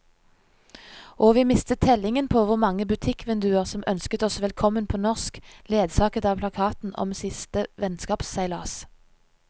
Og vi mistet tellingen på hvor mange butikkvinduer som ønsket oss velkommen på norsk, ledsaget av plakaten om siste vennskapsseilas.